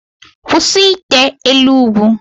Kwụsị ite elu ugwu!